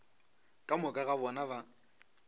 ka moka ga bona ba